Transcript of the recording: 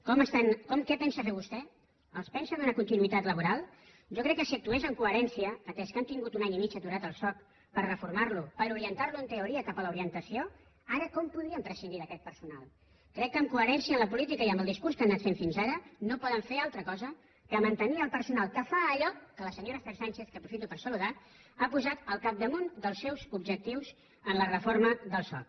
què pensa fer vostè els pensa donar continuïtat laboral jo crec que si actués amb coherència atès que han tingut un any i mig aturat el soc per reformar lo per orientar lo en teoria cap a l’orientació ara com podríem prescindir d’aquest personal crec que en coherència amb la política i amb el discurs que han anat fent fins ara no poden fer altra cosa que mantenir el personal que fa allò que la senyora esther sánchez que aprofito per saludar ha posat al capdamunt dels seus objectius en la reforma del soc